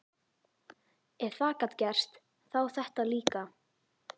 Ef það gat gerst, þá þetta líka.